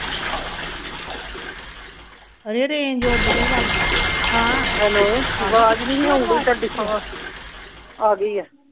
ਹਜੇ ਰੇਂਜ ਉੱਡ ਗਈ ਲੱਗਦੀ ਹਾਂ ਹੈਲੋ ਆਵਾਜ਼ ਨਹੀਂ ਸੀ ਆਉਣ ਡਈ ਤੁਹਾਡੀ ਆ ਗਈ ਆ